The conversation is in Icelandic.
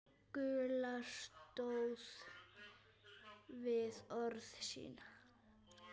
Gulla stóð við orð sín.